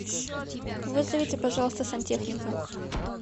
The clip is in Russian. вызовите пожалуйста сантехника